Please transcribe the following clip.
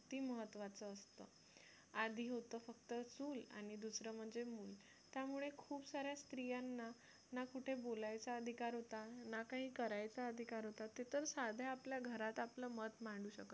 किती महत्त्वाचं असतं आधी होतं फक्त चूल आणि दुसरं म्हणजे मुल त्यामुळे खूप सार्‍या स्त्रियांना ना कुठे बोलायचा अधिकार होता ना काही करायचा अधिकार होता त्यातच साध्या आपल्या घरात आपले मत मांडू शकत नव्हत्या